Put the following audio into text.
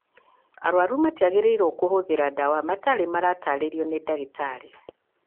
Arũaru matiagĩrĩirũo kũhũthĩra ndawa matarĩ marataarĩrio nĩ ndagĩtarĩ